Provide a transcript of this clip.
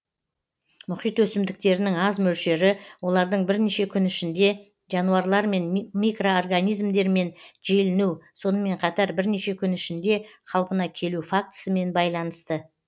мұхит өсімдіктерінің аз мөлшері олардың бірнеше күн ішінде жануарлар мен микроорганизмдермен желіну сонымен қатар бірнеше күн ішінде қалпына келу фактісімен байланысты